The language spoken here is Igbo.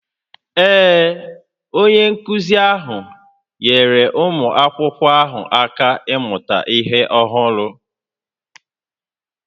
Ee, onye nkụzi ahụ nyeere ụmụ akwụkwọ ahụ aka ịmụta ihe ọhụrụ